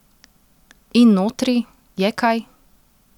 In notri, je kaj?